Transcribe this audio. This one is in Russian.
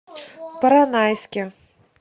поронайске